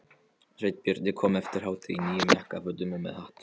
Sveinbjörn kom eftir hádegi í nýjum jakkafötum og með hatt.